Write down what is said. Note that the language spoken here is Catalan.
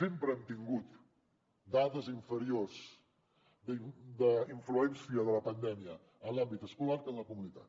sempre hem tingut dades inferiors d’influència de la pandèmia en l’àmbit escolar que en la comunitat